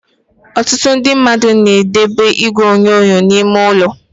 Ọtụtụ ndị mmadụ na edobe igwe onyonyo n'ime ụlọ.